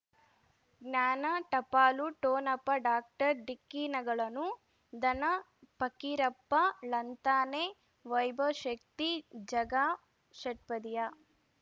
ಜ್ಞಾನ ಟಪಾಲು ಠೊಣಪ ಡಾಕ್ಟರ್ ಢಿಕ್ಕಿ ಣಗಳನು ಧನ ಫಕೀರಪ್ಪ ಳಂತಾನೆ ವೈಭವ್ ಶಕ್ತಿ ಝಗಾ ಷಟ್ಪದಿಯ